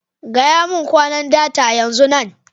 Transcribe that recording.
Gaya mun kwanan data, yanzun nan!